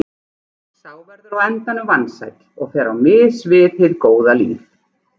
Sá verður á endanum vansæll og fer á mis við hið góða líf.